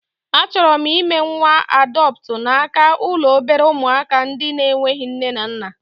A chọrọ m ime nwa adọptu n'aka ụlọ obere ụmụaka ndị na-enweghị nne na nna